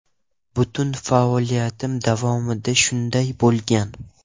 Butun faoliyatim davomida shunday bo‘lgan.